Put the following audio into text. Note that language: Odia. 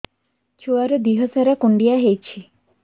ଛୁଆର୍ ଦିହ ସାରା କୁଣ୍ଡିଆ ହେଇଚି